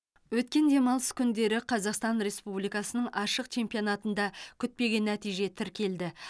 өткен демалыс күндері қазақстан республикасының ашық чемпионатында күтпеген нәтиже тіркелді